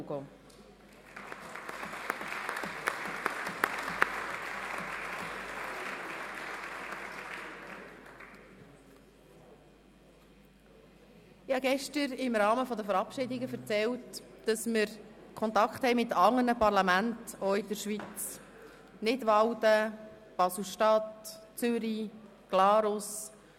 Gestern erzählte ich im Rahmen der Verabschiedungen, dass wir Kontakte zu anderen Parlamenten in der Schweiz pflegten, so zu Nidwalden, Basel-Stadt, Zürich und Glarus.